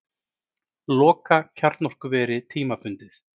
Loka kjarnorkuveri tímabundið